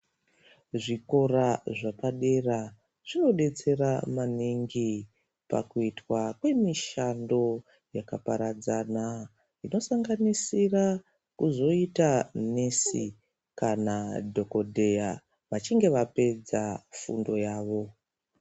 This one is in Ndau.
Zvikora zvapadera zvinodetsera maningi pakuitwa kwemishando yakaparadzana inosanganisira uzoita nesi kana dhokodheya vachinge vapedza fundo yavo.